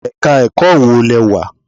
Ẹ̀ka ẹ̀kọ́ wo lẹ wà?